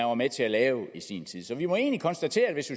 var med til at lave i sin tid så vi må egentlig konstatere at hvis